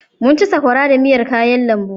Mun ci sakwara da miyar kayan lambu.